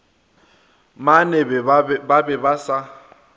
mene ba be ba sa